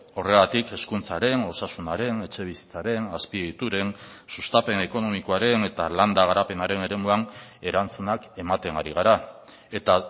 horregatik hezkuntzaren osasunaren etxebizitzaren azpiegituren sustapen ekonomikoaren eta landa garapenaren eremuan erantzunak ematen ari gara eta